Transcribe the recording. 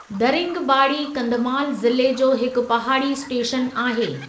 दरिंगबाड़ी कंधमाल ज़िले जो हिकु पहाड़ी स्टेशन आहे।